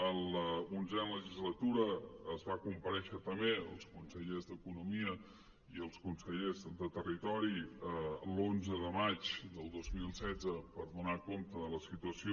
en l’onzena legislatura es va comparèixer també els consellers d’economia i els consellers de territori l’onze de maig del dos mil setze per donar compte de la situació